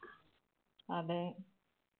അതെ.